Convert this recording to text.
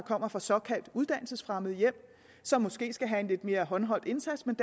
kommer fra såkaldt uddannelsesfremmede hjem og som måske skal have en lidt mere håndholdt indsats men